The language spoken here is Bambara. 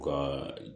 U ka